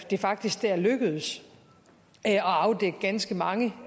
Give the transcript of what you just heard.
det faktisk der er lykkedes at afdække ganske mange